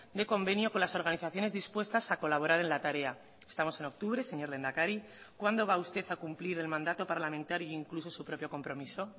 de convenio con las organizaciones dispuestas a colaborar en la tarea estamos en octubre señor lehendakari cuándo va a usted a cumplir el mandato parlamentario incluso su propio compromiso